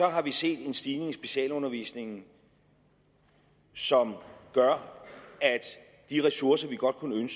har vi set en stigning i specialundervisningen som gør at de ressourcer vi godt kunne